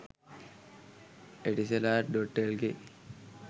etisalat.lk